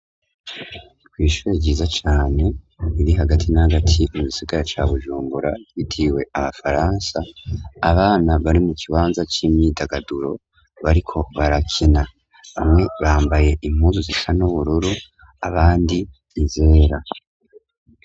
Kw'ishure ciza cane iri hagati n'agati mu gisigara ca Bujumbura yitiriwe abafaransa abana bari mu kibanza c'imyidagaduro bariko barakina bamwe bambaye impuzu zisa n'ubururu abandi nizera.